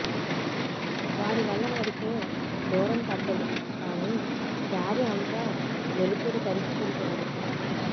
వారి వల్ల నడిచే దూరం తగ్గదు కానీ దారి అంతా వెలుతురు పరుచుకుంటుంది